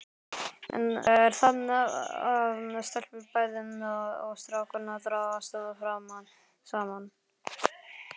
Enn er það að stelpur bæði og strákar dragast saman.